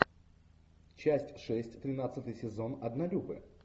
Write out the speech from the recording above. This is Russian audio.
часть шесть тринадцатый сезон однолюбы